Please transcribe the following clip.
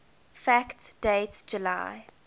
fact date july